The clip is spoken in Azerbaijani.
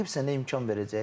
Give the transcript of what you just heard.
Rəqib sənə imkan verəcək?